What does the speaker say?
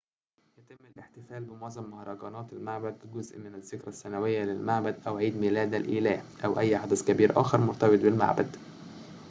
يتم الاحتفال بمعظم مهرجانات المعبد كجزء من الذكرى السنوية للمعبد أو عيد ميلاد الإله أو أي حدث كبير آخر مرتبط بالمعبد